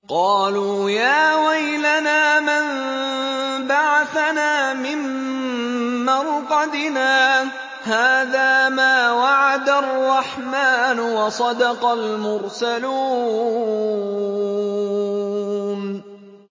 قَالُوا يَا وَيْلَنَا مَن بَعَثَنَا مِن مَّرْقَدِنَا ۜۗ هَٰذَا مَا وَعَدَ الرَّحْمَٰنُ وَصَدَقَ الْمُرْسَلُونَ